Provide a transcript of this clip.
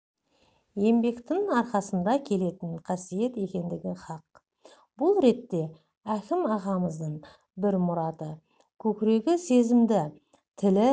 еңбектің арқасында келетін қасиет екендігі хақ бұл ретте әкім ағамыздың бір мұраты көкірегі сезімді тілі